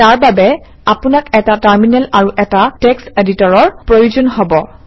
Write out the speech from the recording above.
তাৰ বাবে আপোনাক এটা টাৰমিনেল আৰু এটা টেক্স্ট এডিটৰৰ প্ৰয়োজন হব